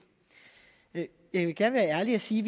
jeg jeg vil gerne være ærlig og sige